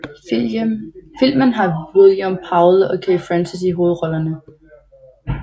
Filmen har William Powell og Kay Francis i hovedrollerne